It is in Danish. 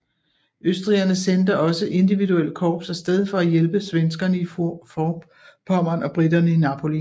Østrigerne sendte også individuelle korps af sted for at hjælpe svenskerne i Forpommern og briterne i Napoli